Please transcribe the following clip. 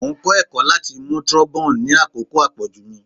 Mo n kọ ẹkọ lati mu trombone ni akoko apoju mi